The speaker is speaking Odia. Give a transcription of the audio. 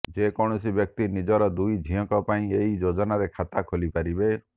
ଯେକୌଣସି ବ୍ୟକ୍ତି ନିଜର ଦୁଇଜଣ ଝିଅଙ୍କ ପାଇଁ ଏହି ଯୋଜନାରେ ଖାତା ଖୋଲିପାରିବେ